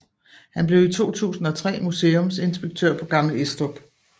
Han blev i 2003 museumsinspektør på Gammel Estrup